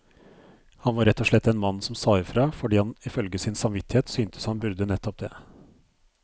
Han var rett og slett en mann som sa ifra, fordi han ifølge sin samvittighet syntes han burde nettopp det.